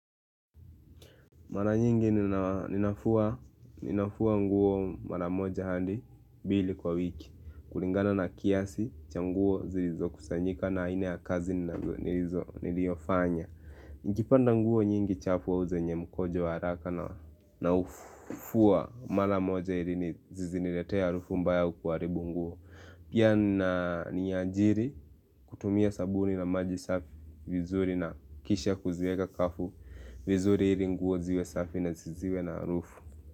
Mara nyingi ninafua nguo mara moja hadi mbili kwa wiki kulingana na kiasi cha nguo zilizokusanyika na haina ya kazi niliofanya Nijipanda nguo nyingi chafu wa uzenye mkojo wa haraka naufua mara moja ili ziziniletea harufu mbaya kuaribu nguo Pia niajiri kutumia sabuni na maji safi vizuri na kisha kuziega kafu vizuri ili nguo ziwe safi na ziziwe na harufu.